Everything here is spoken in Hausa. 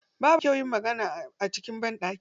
Babu kyau yin magana a cikin banɗaki.